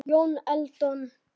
Jón Eldon